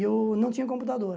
E eu não tinha computador.